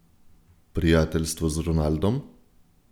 Prijateljstvo z Ronaldom?